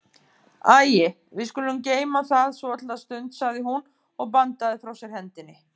Æi, við skulum geyma það svolitla stund, sagði hún og bandaði frá sér hendinni.